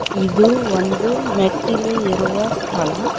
ಇದು ಒಂದು ಮೆಟ್ಟಿಲು ಏರುವ ಸ್ಥಳ.